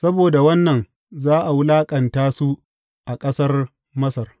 Saboda wannan za a wulaƙanta su a ƙasar Masar.